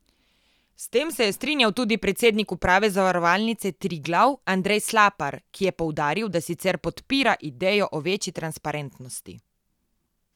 S tem se je strinjal tudi predsednik uprave Zavarovalnice Triglav Andrej Slapar, ki je poudaril, da sicer podpira idejo o večji transparentnosti.